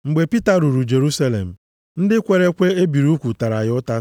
Mgbe Pita ruru Jerusalem, ndị kwere ekwe e biri ugwu tara ya ụta,